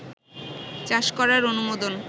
চাষ করার অনুমোদন